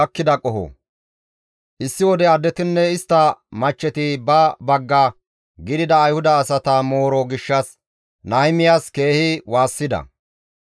Issi wode addetinne istta machcheti ba bagga gidida Ayhuda asata mooro gishshas Nahimiyas keehi waassida.